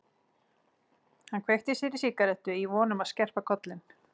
Hann kveikti sér í sígarettu í von um að skerpa kollinn.